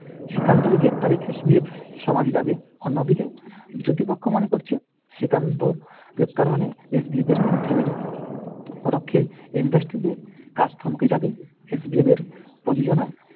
শ্রীকান্তর গ্রেফতারে SBF যাবে, অন্যদিকে পক্ষ মনে করছে শ্রীকান্ত গ্রেফতার মানে SBF এর থেমে যাওয়া। পরোক্ষে industry তে কাজ থমকে যাবে, SBF এর প্রযোজনায়